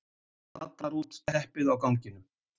Atar út teppið á ganginum.